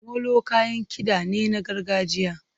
Molo kayan kiɗa ne na gargajiya.